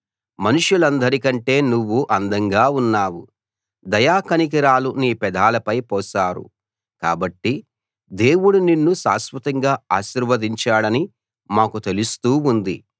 మనుషులందరి కంటే నువ్వు అందంగా ఉన్నావు దయా కనికరాలు నీ పెదాలపై పోశారు కాబట్టి దేవుడు నిన్ను శాశ్వతంగా ఆశీర్వదించాడని మాకు తెలుస్తూ ఉంది